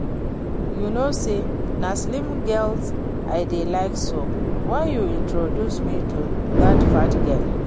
You know say na slim girls I dey like so why you introduce me to dat fat girl